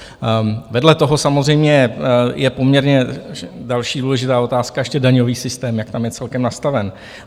Vedle toho samozřejmě je poměrně další důležitá otázka ještě daňový systém, jak tam je celkem nastaven.